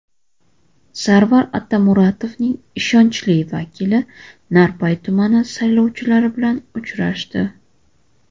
Sarvar Otamuratovning ishonchli vakili Narpay tumani saylovchilari bilan uchrashdi.